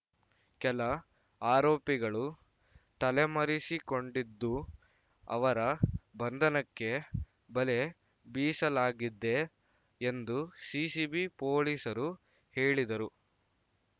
ಕೆಲ ಆರೋಪಿಗಳು ತಲೆಮರೆಸಿಕೊಂಡಿದ್ದು ಅವರ ಬಂಧನಕ್ಕೆ ಬಲೆ ಬೀಸಲಾಗಿದೆ ಎಂದು ಸಿಸಿಬಿ ಪೊಲೀಸರು ಹೇಳಿದರು